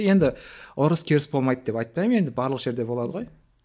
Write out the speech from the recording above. енді ұрыс керіс болмайды деп айтпаймын енді барлық жерде болады ғой